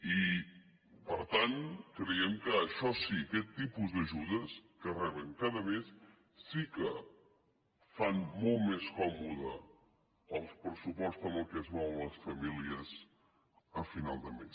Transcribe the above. i per tant creiem que això sí aquest tipus d’ajudes que reben cada mes sí que fa molt més còmode el pressupost amb què es mouen les famílies a final de mes